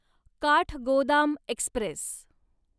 Kathgodam Express